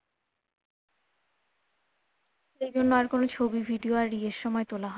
এই জন্য আর কোন ছবি video আর ইয়ের তোলা